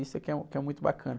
Isso é que é um, que é muito bacana.